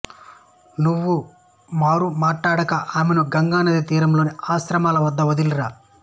నువ్వు మారు మాటాడక ఆమెను గంగానదీ తీరంలోని ఆశ్రమాల వద్ద వదిలిరా